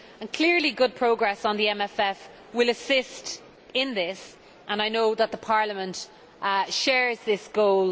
Clearly, good progress on the MFF will assist in this and I know that Parliament shares this goal.